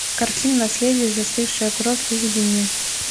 картина наследие застывшая кровь выведи мне